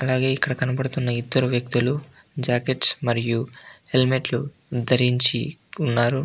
అలాగే ఇక్కడ కనపడుతున్న ఇద్దరు వక్తులు జాకెట్స్ మరియు హెల్మెట్ లు ధరించి ఉన్నారు.